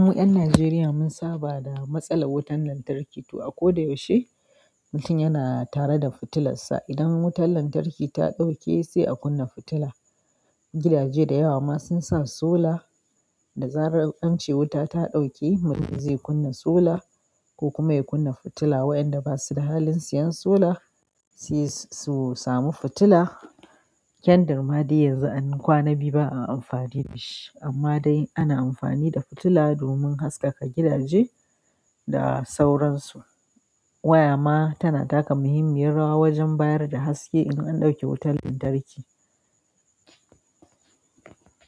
Mu ƴan Najeriya mun saba da matsalar wutar lantarki. To a koda yaushe mutum yana tare da fitilarsa. Idan wutar lantarki ta ɗauke sai a kunna fitila. Gidaje da yawa ma sun sa sola da zarar an ce wuta ta ɗauke mutum zai kunna sola ko kuma ya kunna fitila. Wayanda ba su da halin siyan sola sai su samu fitila. Kyan dar ma dai yanzu ma de anyi kwanan biyu ba a amfani da shi, amma dai ana amfani da fitila domin haskaka gidaje da sauransu. Wayama tana taka muhimmiyar rawa wajen bayar da haske idan an ɗauke wutar lantarki.